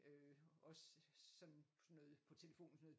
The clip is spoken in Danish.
Øh også sådan noget på telefonen sådan noget